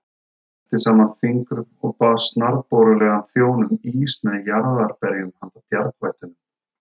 Smellti saman fingrum og bað snarborulegan þjón um ís með jarðarberjum handa bjargvættunum.